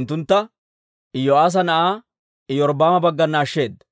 unttuntta Iyo'aasa na'aa Iyorbbaama baggana ashsheeda.